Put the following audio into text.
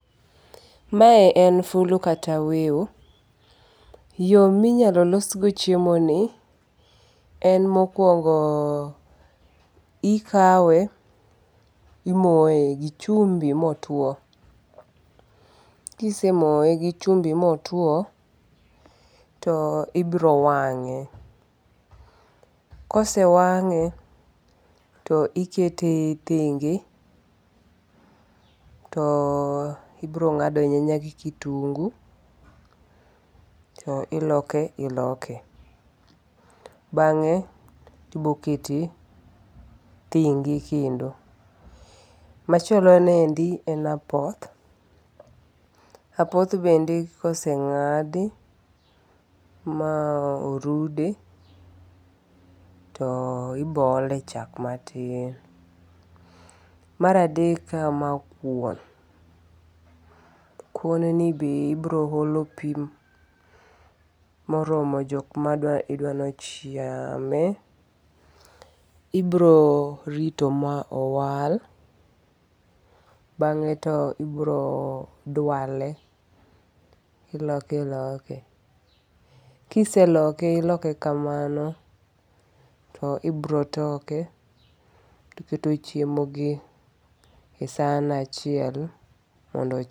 Mae en fulu kata wiu. Yo minyalo los go chiemo ni en mokuongo ikawe imoye gi chumbi motuo. Kise moye gi chumbi motuo, to ibro wang'e. Kose wang'e to ikete thenge to ibro ng'ado nyanya gi kitungu to iloke iloke. Bang'e ibokete thenge kendo. Machielo niendi en apoth. Apoth bende kosenng'adi ma orude, to ibo ole chak matin. Maradek kama kuon. Kuon ni be ibiro olo pi moromo jok ma idwanochame. Ibiro rito ma owal. Bang'e to ibiro dwale, iloke iloke. Kiseloke iloke kamano, to ibiro toke to iketo chiemo gi e san achiel mondo.